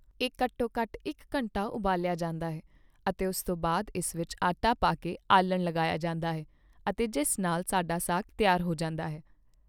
ਇਹ ਘੱਟੋ ਘੱਟ ਇੱਕ ਘੰਟਾ ਉਬਾਲਿਆ ਜਾਂਦਾ ਹੈ ਅਤੇ ਉਸ ਤੋਂ ਬਾਅਦ ਇਸ ਵਿੱਚ ਆਟਾ ਪਾ ਕੇ ਆਲਣ ਲਗਾਇਆ ਜਾਂਦਾ ਹੈ ਅਤੇ ਜਿਸ ਨਾਲ ਸਾਡਾ ਸਾਗ ਤਿਆਰ ਹੋ ਜਾਂਦਾ ਹੈ